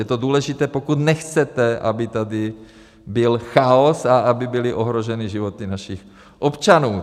Je to důležité, pokud nechcete, aby tady byl chaos a aby byly ohroženy životy našich občanů.